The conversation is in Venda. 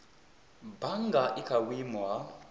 bannga i kha vhuimo ha